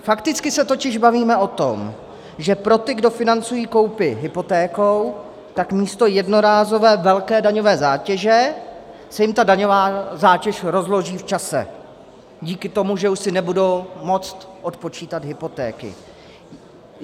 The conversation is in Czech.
Fakticky se totiž bavíme o tom, že pro ty, kdo financují koupi hypotékou, tak místo jednorázové velké daňové zátěže se jim tam daňová zátěž rozloží v čase díky tomu, že už si nebudou moct odpočítat hypotéky.